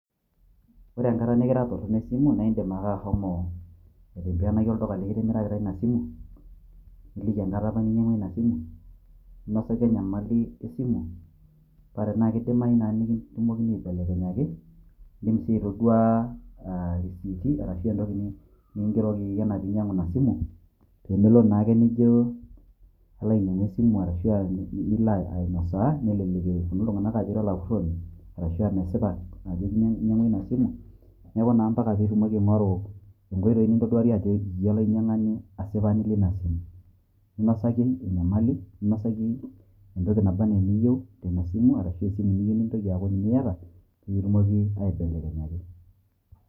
Ore enkata nikira torrono esimu, naa indim ake ashomo aitimbianaki olduka likitimirakita ina simu, niliki enkata apa ninyang'ua ina simu, ninosaki enyamali esimu paa tanaa kidimayu naa nikitumokini aibelekenyaki, indim sii aitoduaa aah irisiiti arashu entoki nikingerokoki anaa piinyang'u ina simu, peemelotu naake nijo alo ainyang'u esimu arashu nilo ainosaa nelelek epuonu iltung'anak aajo ira olapurroni arashu mesipa ajo tine inyang'ua ina simu, neeku naa mpaka piitumoki aing'oru nkoitoi nintoduarie ajo iyie olainyang'ani asipani leina simu. Ninosaki enyamali, ninosaki entoki naba anaa eniyieu teina simu, arashu esimu niyieu nintoki aaku ninye iyata piikitumoki aibelekenyaki.